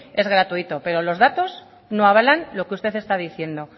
es gratuito pero los datos no avalan lo que usted están diciendo